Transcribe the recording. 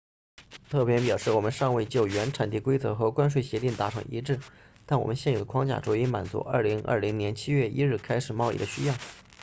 特派员表示我们尚未就原产地规则和关税协定达成一致但我们现有的框架足以满足2020年7月1日开始贸易的需要